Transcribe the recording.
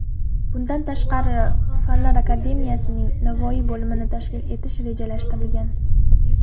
Bundan tashqari, Fanlar akademiyasining Navoiy bo‘limini tashkil etish rejalashtirilgan .